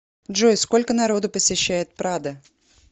джой сколько народу посещает прадо